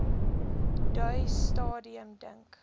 daai stadium dink